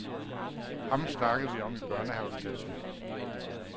Ham snakkede vi om i børnehaveklassen.